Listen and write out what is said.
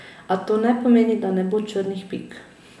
A to ne pomeni, da ne bo črnih pik.